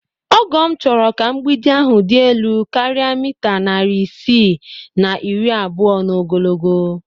Ọgọ m chọrọ ka mgbidi ahụ dị elu karịa mita narị isii na iri abụọ n'ogologo